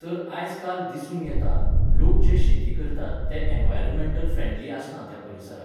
तर आयज काल दिसून येता, लोक जें शेती करतात ते एनवायरोमेंटल फ्रेंडली आसना त्या परिसराक.